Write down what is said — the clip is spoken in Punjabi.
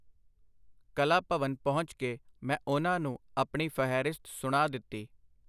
ਕਲਾ-ਭਵਨ ਪਹੁੰਚ ਕੇ ਮੈਂ ਉਹਨਾਂ ਨੂੰ ਆਪਣੀ ਫਹਿਰਿਸਤ ਸੁਣਾ ਦਿਤੀ.